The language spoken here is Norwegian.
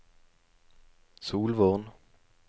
Solvorn